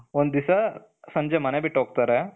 ಒಂದು ದಿವಸ ಸಂಜೆ ಮನೆ ಬಿಟ್ಟು ಹೋಗ್ತಾರೆ.